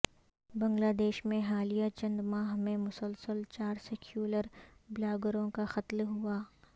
بنگلہ دیش میں حالیہ چند ماہ میں مسلسل چار سیکیولر بلاگروں کا قتل ہوا ہے